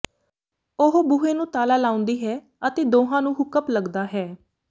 ਉਹ ਬੂਹੇ ਨੂੰ ਤਾਲਾ ਲਾਉਂਦੀ ਹੈ ਅਤੇ ਦੋਹਾਂ ਨੂੰ ਹੁੱਕ ਅੱਪ ਲੱਗਦਾ ਹੈ